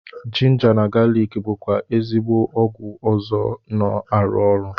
Jinja na galik bụkwa ezigbo ọgwụ ọzọ na-arụ ọrụ